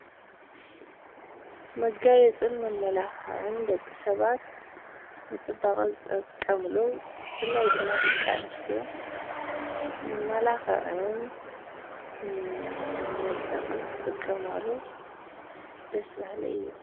መጋየፅን መመላኽዕን ደቂ ሰባት ንፅባቐ ዝጥቀምሉ ብፍላይ ድማ ደቂ ኣንስትዮ መመላኽዕን መድመቕን ዝጥቀማሉ ደስ በሃሊ እዩ፡፡